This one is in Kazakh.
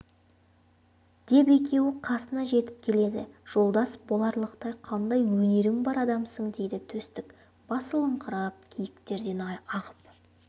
деп екеуі қасына жетіп келеді жолдас боларлықтай қандай өнерің бар адамсың дейді төстік басылыңқырап киіктерден ағып